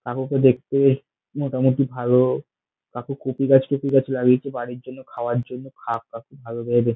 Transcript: কাকুকে দেখতে মোটামুটি ভালো কাকু কপি গাছ টপি গাছ লাগিয়েছে বাড়িতে জন্য খাওয়ার জন্য খাদ ফাদ ভাল ভাবে দি--